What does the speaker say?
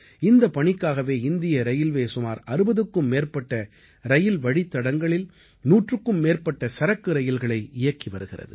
இந்தப் பணிக்காகவே இந்திய ரயில்வே சுமார் 60க்கும் மேற்பட்ட ரயில் வழித்தடங்களில் நூற்றுக்கும் மேற்பட்ட சரக்கு ரயில்களை இயக்கி வருகிறது